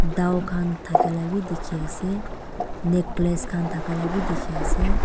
dao kan dakailabi diki ase necklace kan dakalabi diki ase.